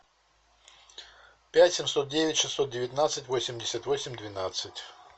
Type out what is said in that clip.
пять семьсот девять шестьсот девятнадцать восемьдесят восемь двенадцать